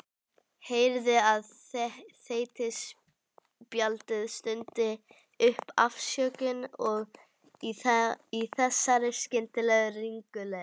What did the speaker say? Heyrði að þeytispjaldið stundi upp afsökun í þessari skyndilegu ringulreið.